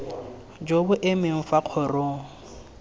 jo bo emeng fa kgorong